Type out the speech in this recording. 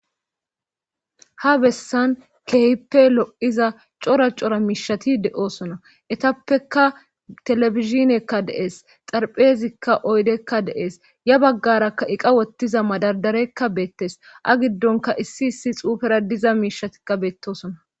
ha bessan keehippe lo7iza cora cora miishati de7oosona etappeka telebizhinekka dees xarpheezikka oydekka dees ya baggaraka eqa wottiza madadarekka beettes a giddonka issi issi xuufera diza miishatikka beettosona